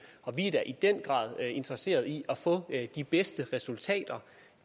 og vi er da i den grad interesserede i at få de bedste resultater